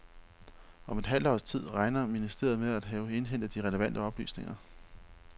Om et halvt års tid regner ministeriet med at have indhentet de relevante oplysninger.